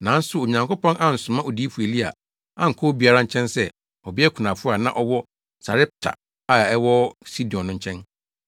Nanso Onyankopɔn ansoma Odiyifo Elia ankɔ obiara nkyɛn sɛ ɔbea kunafo a na ɔwɔ Sarepta a ɛwɔ Sidon no nkyɛn.